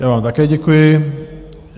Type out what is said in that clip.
Já vám také děkuji.